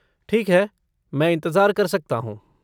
ठीक है, मैं इंतज़ार कर सकता हूँ।